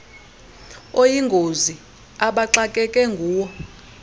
oyingozi abaxakeke nguwo